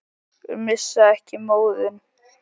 Missa ekki móðinn.